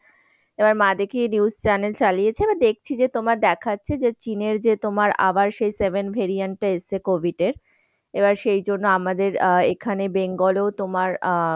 এবার মা দেখি news channel চালিয়েছে আমি দেখছি তোমার দেখাচ্ছে যে চীনের যে তোমার আবার সেই seven variant টা এসেছে covid এর এবার সেজন্য আমাদের আহ এখানে বেঙ্গলেও তোমার আহ